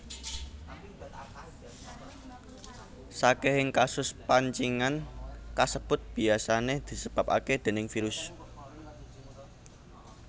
Sakehing kasus pancingen kasebut biyasane disebabake déning virus